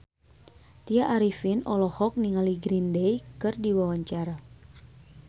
Tya Arifin olohok ningali Green Day keur diwawancara